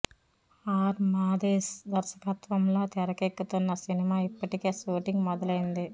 are Madesh దర్శకత్వంలో తెరకెక్కుతున్న సినిమా ఇప్పటికే షూటింగ్ మొదలైంది